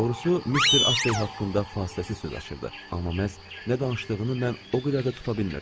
Doğrusu Mister Astley haqqında fasiləsiz söz açırdı, amma məhz nə danışdığını mən o qədər də tuta bilmirdim.